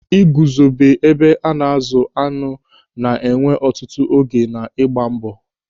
Ị guzobe ebe a na-azụ añụ na-ewe ọtụtụ oge na ịgba mbọ.